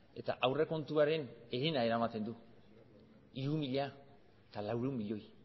eta aurrekontuaren herena eramaten du hiru mila laurehun milioi